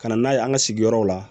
Ka na n'a ye an ka sigiyɔrɔw la